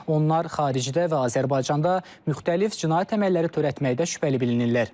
Onlar xaricdə və Azərbaycanda müxtəlif cinayət əməlləri törətməkdə şübhəli bilinirlər.